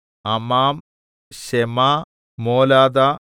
അമാം ശെമ മോലാദ